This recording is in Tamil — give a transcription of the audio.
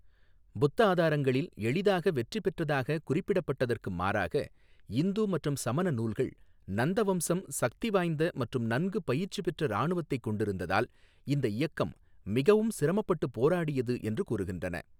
புத்த ஆதாரங்களில், எளிதாக வெற்றி பெற்றதாகக் குறிப்பிடப்பட்டதற்கு மாறாக, இந்து மற்றும் சமண நூல்கள் நந்த வம்சம் சக்திவாய்ந்த மற்றும் நன்கு பயிற்சி பெற்ற இராணுவத்தைக் கொண்டிருந்ததால் இந்த இயக்கம் மிகவும் சிரமப்பட்டு போராடியது என்று கூறுகின்றன.